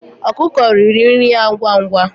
Ọkụkụ riri nri ya ngwa ngwa.